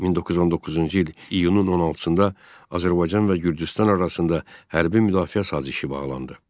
1919-cu il iyunun 16-da Azərbaycan və Gürcüstan arasında hərbi müdafiə sazişi bağlandı.